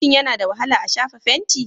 Shin yana da wahala a shafa fenti?